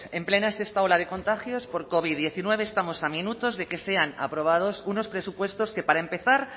en plena sexta ola de contagios por covid diecinueve estamos a minutos de que sean aprobados unos presupuestos que para empezar